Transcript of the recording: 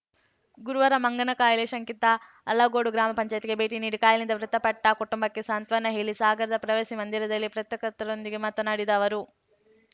ಗುರುವಾರ ಮಂಗನ ಕಾಯಿಲೆ ಶಂಕಿತ ಅಲಗೋಡು ಗ್ರಾಮ ಪಂಚಾಯ್ತಿಗೆ ಭೇಟಿ ನೀಡಿ ಕಾಯಿಲೆಯಿಂದ ಮೃತಪಟ್ಟಕುಟುಂಬಕ್ಕೆ ಸಾಂತ್ವನ ಹೇಳಿ ಸಾಗರದ ಪ್ರವಾಸಿ ಮಂದಿರದಲ್ಲಿ ಪ್ರತ್ರಕರ್ತರೊಂದಿಗೆ ಮಾತನಾಡಿದ ಅವರು